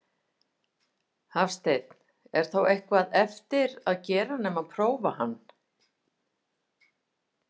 Hafsteinn: Er þá eitthvað eftir að gera nema prófa hann?